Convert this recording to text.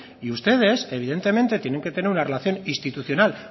y ustedes evidentemente tienen que tener una relación institucional